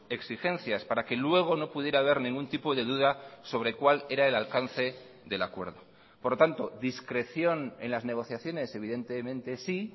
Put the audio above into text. exigencias para que luego no pudiera haber ningún tipo de duda sobre cuál era el alcance del acuerdo por lo tanto discreción en las negociaciones evidentemente sí